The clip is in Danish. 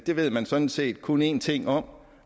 det ved man sådan set kun en ting om